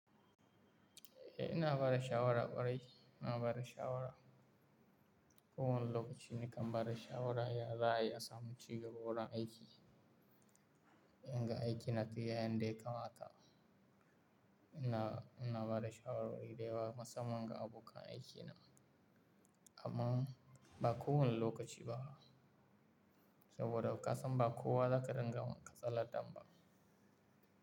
Eh ina bada shawara ƙwarai, ina bada shawara. Ko wani lokaci nakan bada shawara ya za'a yi, ya samu cigaba wurin aiki. In ga aiki na tafiya yanda ya kama ta. Ina, ina bada shawarwari dayawa musamman ga abokan aikina. Amma ba kowane lokaci ba saboda kasan ba kowa za ka dinga ma katsalandan ba.